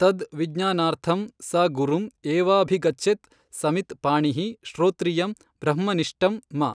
ತದ್ ವಿಜ್ಞಾನಾರ್ಥಮ್ ಸ ಗುರುಮ್ ಏವಾಭಿಗಚ್ಚೆತ್ ಸಮಿತ್ ಪಾಣಿಃ ಶ್ರೊತ್ರಿಯಮ್ ಬ್ರಹ್ಮ ನಿಷ್ಟಮ್ ಮ